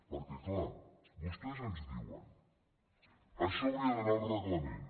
perquè clar vostès ens diuen això hauria d’anar al reglament